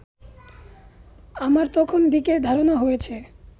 আমার তখন দিকের ধারণা হয়েছে